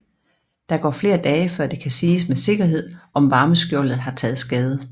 Der går flere dage før det kan siges med sikkerhed om varmeskjoldet har taget skade